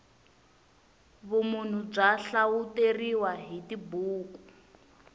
vumunhu bya hlawuteriwa hi tibuku